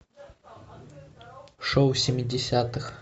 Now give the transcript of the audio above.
шоу семидесятых